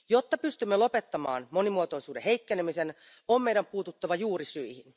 Jotta pystymme lopettamaan monimuotoisuuden heikkenemisen, on meidän puututtava juurisyihin.